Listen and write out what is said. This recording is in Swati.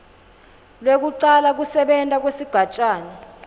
lwekucala kusebenta kwesigatjana